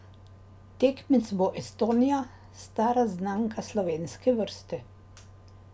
Tekmec bo Estonija, stara znanka slovenske vrste.